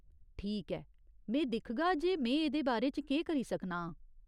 ठीक ऐ, में दिखगा जे में एह्दे बारे च केह् करी सकना आं।